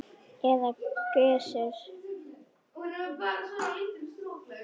eða Gissur!